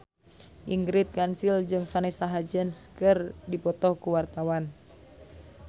Ingrid Kansil jeung Vanessa Hudgens keur dipoto ku wartawan